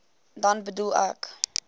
dan bedoel ek